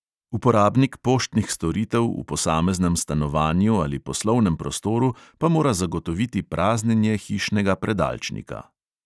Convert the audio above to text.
Uporabnik poštnih storitev v posameznem stanovanju ali poslovnem prostoru pa mora zagotoviti praznjenje hišnega predalčnika.